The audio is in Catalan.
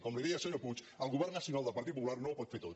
com li deia senyor puig el govern nacional del partit popular no ho pot fer tot